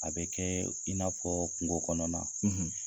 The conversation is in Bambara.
A bɛ kɛɛ i n'a fɔɔ kungo kɔnɔna